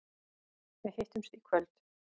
Við hittumst í kvöld.